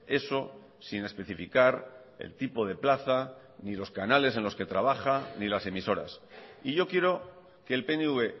eso sin especificar el tipo de plaza ni los canales en los que trabaja ni las emisoras y yo quiero que el pnv